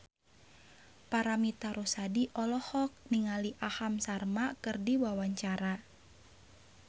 Paramitha Rusady olohok ningali Aham Sharma keur diwawancara